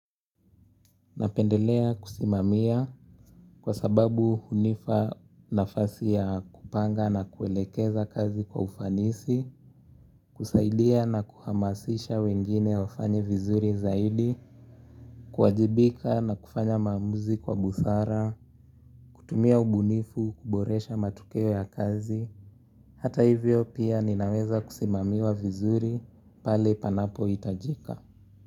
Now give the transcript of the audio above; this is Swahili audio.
Napendelea kusimamia kwa sababu hunipa nafasi ya kupanga na kuelekeza kazi kwa ufanisi, kusaidia na kuhamasisha wengine wafanye vizuri zaidi, kuwajibika na kufanya maamuzi kwa busara, kutumia ubunifu, kuboresha matokeo ya kazi, hata hivyo pia ninaweza kusimamiwa vizuri pale panapohitajika.